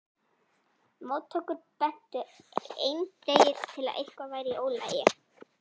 Móttökurnar bentu eindregið til að eitthvað væri í ólagi.